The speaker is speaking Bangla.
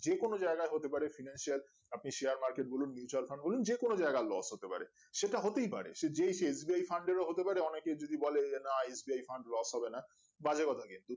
যে কোনো জায়গা হতে পারে financial Appicial market বলুন mutual fund যে কোনো জায়গায় loss হতে পারে সেটা হতেই পারে সে যেই যে SBI fund এরও হতে পারে অনকেই যদি বলে না SBI fund loss হবে না বাজে কথা